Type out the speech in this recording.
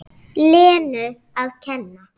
Lenu að kenna.